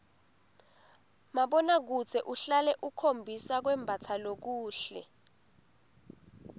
mabonakudze uhlale ukhombisa kwembatsa lokuhle